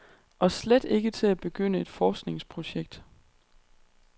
Og slet ikke til at begynde et forskningsprojekt.